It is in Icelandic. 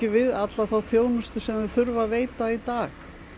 við alla þá þjónustu sem þau þurfa að veita í dag